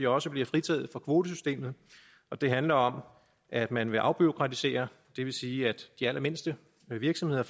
også bliver fritaget for kvotesystemet det handler om at man vil afbureaukratisere det vil sige at de allermindste virksomheder